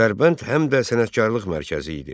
Dərbənd həm də sənətkarlıq mərkəzi idi.